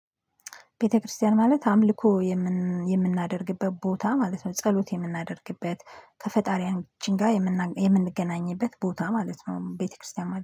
ቤተክርስቲያን ማለት አምልኮ የምናደርግበት ቦታ ማለት ነው። ጸሎት የምናደርግበት ከፈጣሪያን ጋር የምንገናኝበት ቦታ ማለት ነው። ቤተክርስቲያን